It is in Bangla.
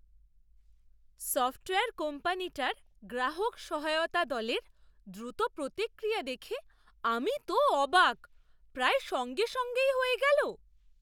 সফ্টওয়্যার কোম্পানিটার গ্রাহক সহায়তা দলের দ্রুত প্রতিক্রিয়া দেখে আমি তো অবাক! প্রায় সঙ্গে সঙ্গেই হয়ে গেল!